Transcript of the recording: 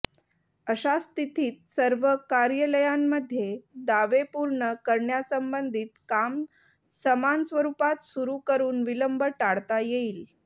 अशा स्थितीत सर्व कार्यालयांमध्ये दावे पूर्ण करण्यासंबधित काम समान स्वरूपात सुरू करून विलंब टाळता येईल